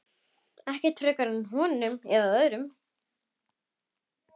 Ekkert frekar honum en öðrum.